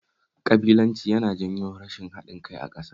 Ƙabilanci yana janyo rashin haɗin kai a ƙasa